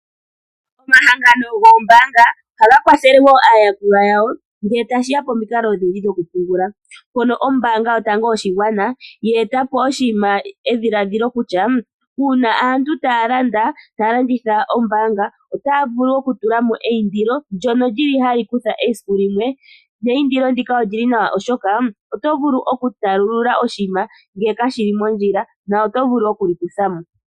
Omahangano gombaanga ohaga kwathele woo aayakulwa yawo ngee tashiya pamikalo odhindji dhoku pungula mpono ombaanga yotango yoshigwana ye eta po edhiladhilo kutya uuna aantu taya landa taya landitha ombaanga otaa vulu okutula mo eyindilo ndyono lyili hali kutha esiku limwe, na eyindilo ndino olili lya simana oshoka otovulu okutalulula oshiima nangele kashili mondjila otovulu okuli kuthamo.